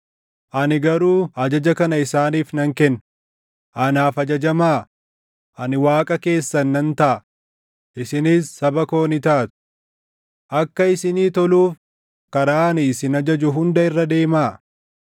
ani garuu ajaja kana isaaniif nan kenne: Anaaf ajajamaa; ani Waaqa keessan nan taʼa; isinis saba koo ni taatu. Akka isinii toluuf karaa ani isin ajaju hunda irra deemaa.